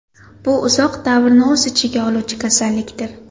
Bu uzoq davrni o‘z ichiga oluvchi kasallikdir.